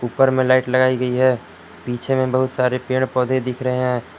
ऊपर में लाइट लगाई गई है पीछे में बहुत सारे पेड़ पौधे दिख रहे हैं।